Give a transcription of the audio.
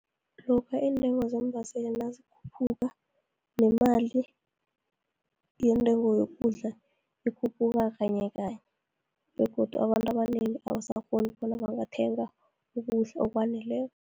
Lokha iintengo zeembaseli nazikhuphuka, nemali yeentengo yokudla, ikhuphuka kanyekanye, begodu abantu abanengi abasakghoni bona bangathenga ukudla okwaneleko.